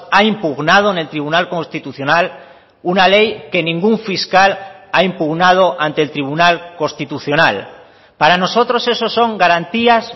ha impugnado en el tribunal constitucional una ley que ningún fiscal ha impugnado ante el tribunal constitucional para nosotros eso son garantías